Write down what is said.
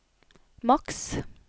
maks